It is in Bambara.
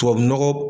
Tubabu nɔgɔ